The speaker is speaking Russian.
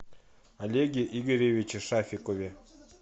олеге игоревиче шафикове